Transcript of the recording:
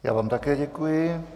Já vám také děkuji.